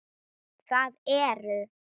Það eru